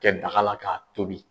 kɛ daga la k'a tobi.